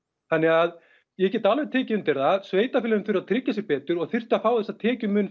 þannig að ég get alveg tekið undir það sveitarfélögin þurfa að tryggja sig betur og þurfa að fá þessar tekjur